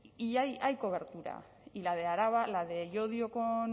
y hay cobertura y la de araba la de llodio con